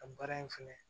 Ka baara in fɛnɛ